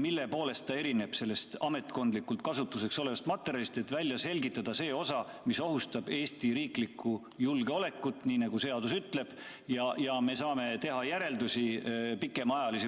mille poolest erineb see ametkondlikuks kasutuseks olevast materjalist, et välja selgitada see osa, mis ohustab Eesti riiklikku julgeolekut, nii nagu seadus ütleb, ja me saame teha pikemaajalisi järeldusi.